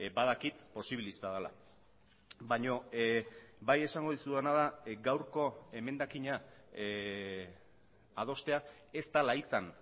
badakit posibilista dela baina bai esango dizudana da gaurko emendakina adostea ez dela izan